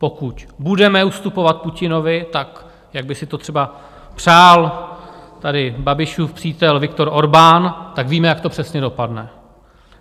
Pokud budeme ustupovat Putinovi tak, jak by si to třeba přál tady Babišův přítel Viktor Orbán, tak víme, jak to přesně dopadne.